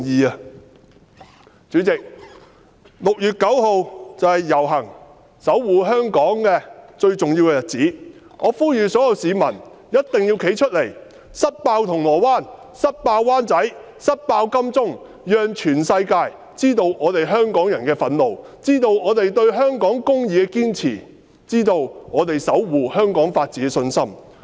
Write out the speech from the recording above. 代理主席 ，6 月9日便是遊行日期，是守護香港最重要的日子，我呼籲所有市民必定要站出來，一同"塞爆"銅鑼灣、"塞爆"灣仔、"塞爆"金鐘，讓全世界知道香港人的憤怒，知道我們對香港公義的堅持，知道我們守護香港法治的信心。